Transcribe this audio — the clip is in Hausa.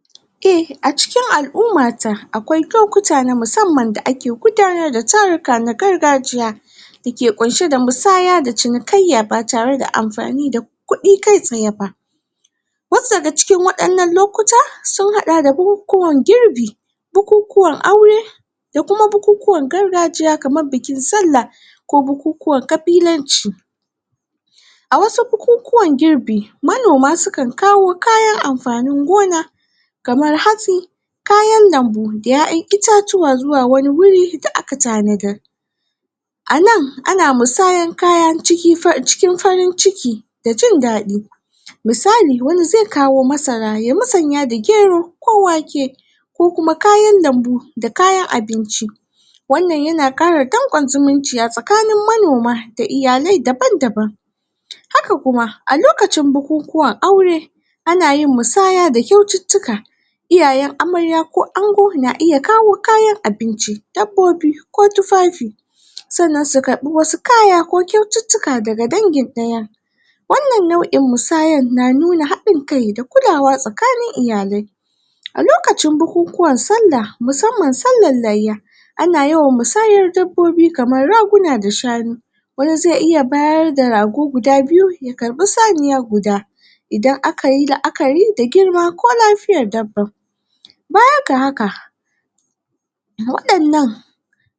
? e a cikin alu'mata akwai lokuta na musamman da ake gudanar da taruka na gargajiya dake ƙunshe da musaya da cinikayya ba tare da anfani da kuɗi kai tsaye ba was daga cikin waɗannan lokuta sun haɗa da bukukuwan girbi bukukuwan aure da kuma bukukuwan gargajiya kamar bikin sallah ko bukukuwan ƙabilanci a wasu bukukuwan girbi manoma sukan kawo kayan anfanin gona kamar hatsi kayan lambu da ƴaƴan itatuwa zuwa wani wuri da aka tanadar anan ana musayan kaya cikin a cikin farin ciki da jin daɗi? misali wani zai kawo masara ya musanya da gero ko wake ko kuma kayan lambu da kayan abinci wannan yana ƙara danƙon zumunci a tsakanin manoma da iyalai daban daban? haka kuma a lokacin bukukuwan aure ana yin musaya da kyaututtuka iyayen amarya koango na iya kawo kayan abinci, dabbobi, ko tufafi? sannan su karbi wasu kaya ko kyaututtuka daga dangin ɗayan wannan nau'in musayan na nuna haɗin kai da kulawa tsakanin iyalai? a lokacin bukukuwan sallah musamman sallan layya ana yawan musayar dabbaobi kamar raguna da shanu wani zai iya bayarda rago guda biyu ya karɓi sanuwa guda idan akayi la'akari da girma ko lafiyar dabbar? bayan ga haka waɗannan